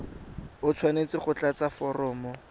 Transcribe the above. o tshwanetse go tlatsa foromo